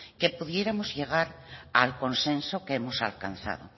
que pudiéramos llegar al consenso que hemos alcanzado